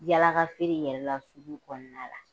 Yaalakafeere yɛrɛ la sugu kɔnɔna la